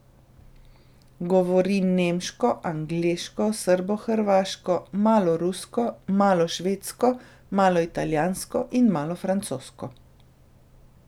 Govori nemško, angleško, srbohrvaško, malo rusko, malo švedsko, malo italijansko in malo francosko.